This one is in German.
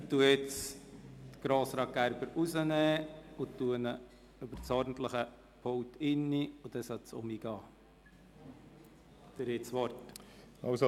Ich melde Grossrat Gerber ab und melde ihn über das ordentliche Mikrofon an, dann sollte es funktionieren.